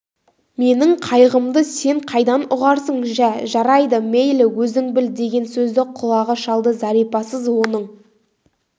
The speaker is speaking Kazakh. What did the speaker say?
менің қайғымды сен қайдан ұғарсың жә жарайды мейлі өзің біл деген сөзді құлағы шалды зәрипасыз оның